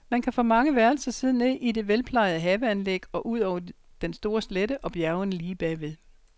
Man kan fra mange værelser se ned i det velplejede haveanlæg og ud over den store slette og bjergene lige bag ved.